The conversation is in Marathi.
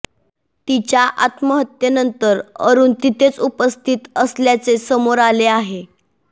तिच्या आत्महत्येनंतर अरुण तिथेच उपस्थित असल्याचे समोर आले आहे